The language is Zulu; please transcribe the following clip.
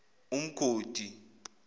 umgodi